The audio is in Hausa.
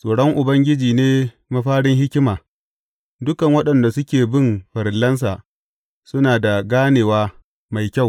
Tsoron Ubangiji ne mafarin hikima; dukan waɗanda suke bin farillansa suna da ganewa mai kyau.